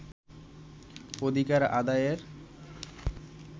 অধিকার আদায়ের